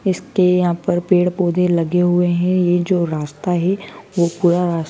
इसके यहां पर पेड़ पौधे लगे हुए हैं ये जो रास्ता है वो पुरा रास--